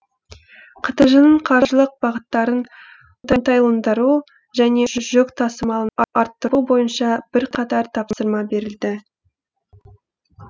қтж ның қаржылық бағыттарын оңтайландыру және жүк тасымалын арттыру бойынша бірқатар тапсырма берілді